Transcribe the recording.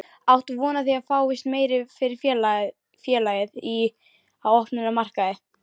Áttu von á því að það fáist meira fyrir félagið í, á opnum markaði?